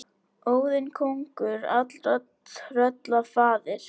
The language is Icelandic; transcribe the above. Óðinn kóngur allra trölla faðir.